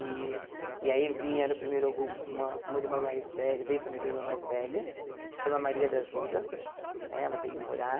E e aí vieram primeiro com uma uma irmã mais velha veio a primeira irmã mais velha, que se chama Maria da Ajuda, né ela veio morar,